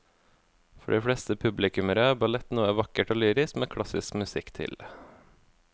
For de fleste publikummere er ballett noe vakkert og lyrisk med klassisk musikk til.